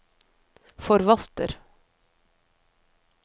forvalter